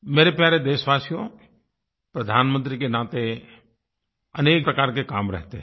मेरे प्यारे देशवासियो प्रधानमंत्री के नाते अनेक प्रकार के काम रहते हैं